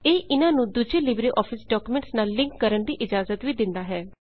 ਇਹ ਇਹਨਾਂ ਨੂੰ ਦੂਜੇ ਲਿਬ੍ਰੇ ਆਫਿਸ ਡਾਕੂਮੈਂਟਸ ਨਾਲ ਲਿੰਕ ਕਾਰਣ ਦੀ ਇਜਾਜ਼ਤ ਵੀ ਦਿੰਦਾ ਹੈ